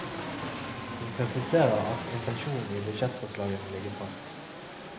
Hun presiserer at intensjonen i budsjettforslaget må ligge fast.